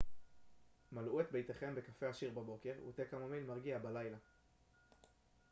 מלאו את ביתכם בקפה עשיר בבוקר ותה קמומיל מרגיע בלילה